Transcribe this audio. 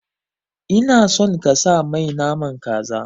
Ina son kasa mai naman kaza